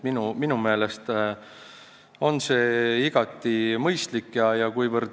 Minu meelest on see igati mõistlik ettepanek.